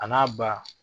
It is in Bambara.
A n'a ba